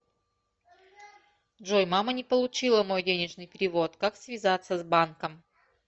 джой мама не получила мой денежный перевод как связаться с банком